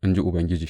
in ji Ubangiji.